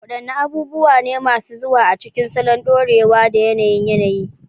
Wadanne abubuwa ne masu zuwa a cikin salon dorewa da yanayin yanayi?